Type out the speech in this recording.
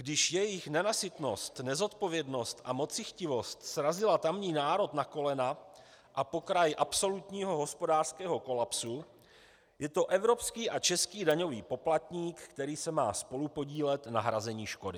Když jejich nenasytnost, nezodpovědnost a mocichtivost srazily tamní národ na kolena a pokraj absolutního hospodářského kolapsu, je to evropský a český daňový poplatník, který se má spolupodílet na hrazení škody.